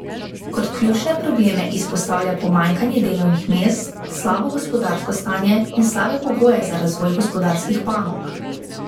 Kot ključne probleme izpostavlja pomanjkanje delovnih mest, slabo gospodarsko stanje in slabe pogoje za razvoj gospodarskih panog.